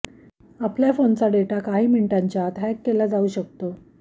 आपल्या फोनचा डेटा काही मिनिटांच्या आत हॅक केला जाऊ शकतो